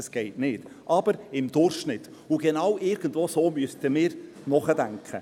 das geht nicht, aber im Durchschnitt – und irgendwie so müssten wir nachdenken.